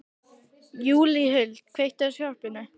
Júlíhuld, kveiktu á sjónvarpinu.